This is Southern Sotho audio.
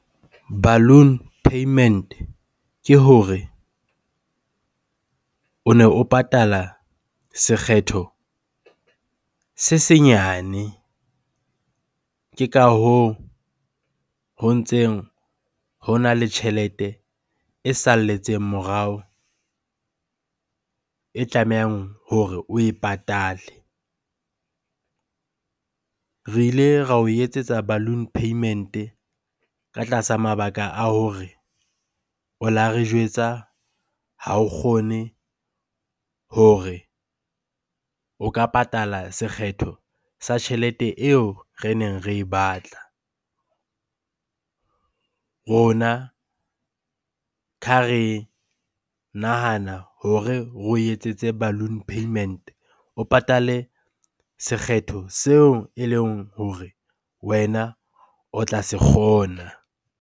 Balloon payment-e ke hore o ne o patala sekgetho se senyane. Ke ka hoo ho ntseng hona le tjhelete e salletseng morao e tlamehang hore oe patale. Re ile ra o etsetsa balloon payment-e ka tlasa mabaka a hore o la re jwetsa ha o kgone hore o ka patala sekgetho sa tjhelete eo re neng re e batla. Rona re nahana hore re o etsetse balloon payment-e, o patale sekgetho seo eleng hore wena o tla se kgona.